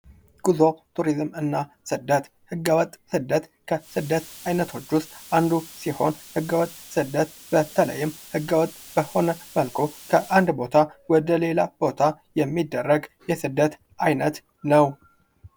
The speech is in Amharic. ጉዞ ቱሪዝም እና ስደት ህገወጥ ስደት ከሥደት ዓይነቶች ውስጥ አንዱ ሲሆን፤ ህገወጥ ስደት በተለይም ሕገ ወጥ በሆነ መልኩ ከአንድ ቦታ ወደ ሌላ ቦታ የሚደረግ የስደት ዓይነት ነው።